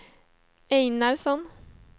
Einarsson